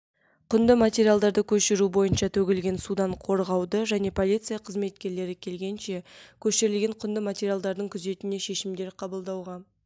құнды матриалдарды көшіру бойынша төгілген судан қорғауды және полиция қызметкерлері келгенше көшірілген құнды материалдардың күзетіне шешімдер қабылдауға